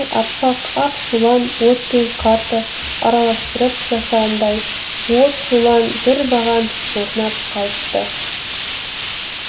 аппак ақ шулан от пен қарды араластырып жасағандай от шулан бір баған орнап қалыпты